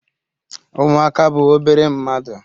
Umuaka bu obere mmadu